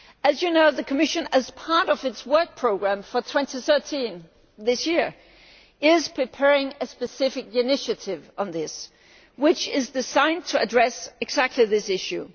As you know, the Commission as part of its work programme for 2013 this year is preparing a specific initiative on this, which is the sign to address precisely this issue.